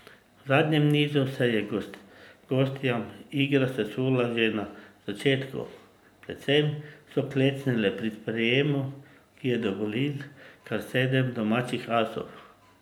V zadnjem nizu se je gostjam igra sesula že na začetku, predvsem so klecnile pri sprejemu, ki je dovolil kar sedem domačih asov.